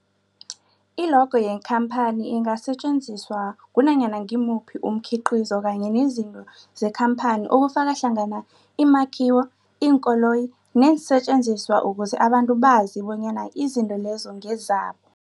I-logo yekhamphani ingasetjenziswa kunanyana ngimuphi umkhiqizo kanye nezinto zekhamphani okufaka hlangana imakhiwo, iinkoloyi neensentjenziswa ukuze abantu bazi bonyana izinto lezo ngezabo.